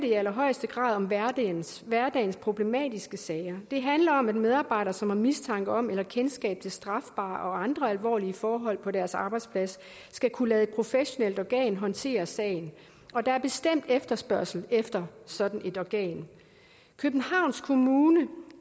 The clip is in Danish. i allerhøjeste grad om hverdagens hverdagens problematiske sager det handler om at medarbejdere som har mistanke om eller kendskab til strafbare og andre alvorlige forhold på deres arbejdsplads skal kunne lade et professionelt organ håndtere sagen og der er bestemt efterspørgsel efter sådan et organ københavns kommune